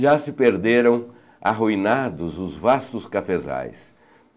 Já se perderam, arruinados, os vastos cafezais.